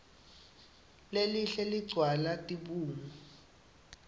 lelihle ligcwala tibungu